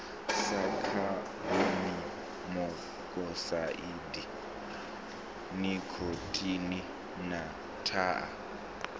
sa khabonimokosaidi nikhotini na thaa